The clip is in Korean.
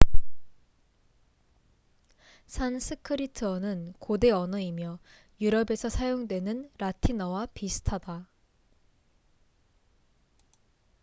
산스크리트어는 고대 언어이며 유럽에서 사용되는 라틴어와 비슷하다